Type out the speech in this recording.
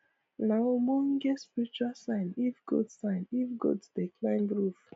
nah ogbonge spiritual sign if goat sign if goat dey climb roof